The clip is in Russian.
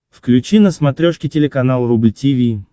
включи на смотрешке телеканал рубль ти ви